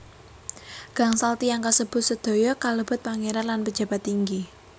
Gangsal tiyang kasebut sedaya kalebet pangeran lan pejabat inggi